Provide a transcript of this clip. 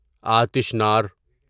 آتش نار